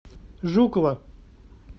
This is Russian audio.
жукова